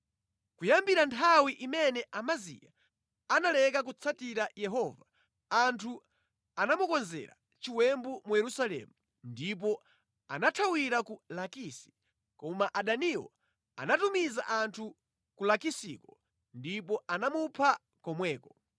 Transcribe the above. Kuyambira nthawi imene Amaziya analeka kutsatira Yehova anthu anamukonzera chiwembu mu Yerusalemu ndipo anathawira ku Lakisi, koma adaniwo anatumiza anthu ku Lakisiko ndipo anamupha komweko.